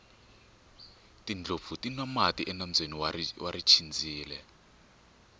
tindlopfu ti nwa mati enambyeni wa richindzile